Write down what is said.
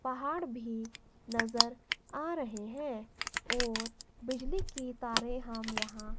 पहाड़ भी नजर आ रहे हैं और बिजली की तारें हम यहां--